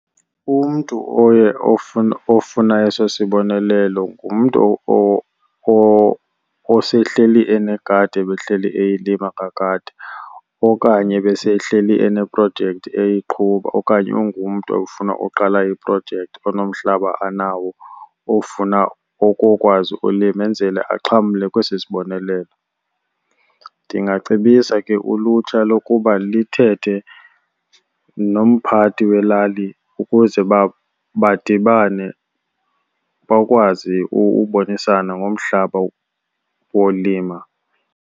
Umntu oye ofuna eso sibonelelo ngumntu osehleli enegadi ebehleli eyilima kakade okanye ebesehleli eneprojekthi eyiqhuba, okanye ungumntu ofuna uqala iprojekthi onomhlaba anawo ofuna ukukwazi ulima enzele axhamle kwesi sibonelelo. Ndingacebisa ke ulutsha lokuba lithethe nomphathi welali ukuze badibane bakwazi ubonisana ngomhlaba wolima.